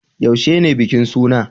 Yaushe ne bikin suna?